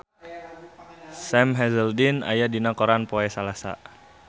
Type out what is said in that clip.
Sam Hazeldine aya dina koran poe Salasa